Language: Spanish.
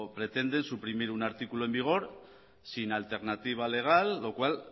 pretenden suprimir un artículo en vigor sin alternativa legal lo cual